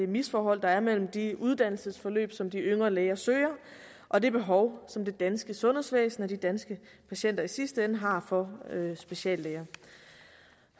misforhold der er mellem de uddannelsesforløb som de yngre læger søger og det behov som det danske sundhedsvæsen og de danske patienter i sidste ende har for speciallæger